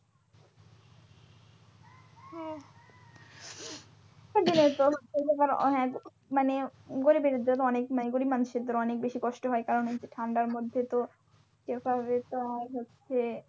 মানে গরিবের জন্য মানে গরিব মানুষদের জন্য অনেক কষ্ট হয় কারণ এই যে ঠান্ডার মধ্যে তো হচ্ছে,